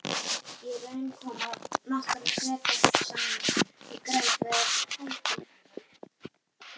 í raun koma nokkrir flekar saman í grennd við haítí